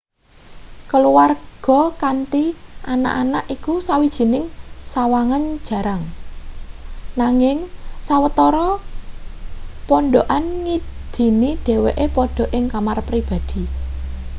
keluwarga kanthi anak-anak iku sawijining sawangan jarang nanging sawetara pondhokan ngidini dheweke padha ing kamar pribadi